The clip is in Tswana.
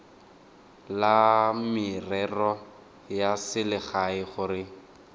la merero ya selegae gore